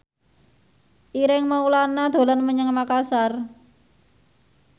Ireng Maulana dolan menyang Makasar